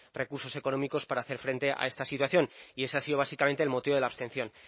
recursos económicos para hacer frente a esta situación y ese ha sido básicamente el motivo de la abstención